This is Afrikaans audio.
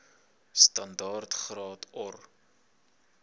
standaard graad or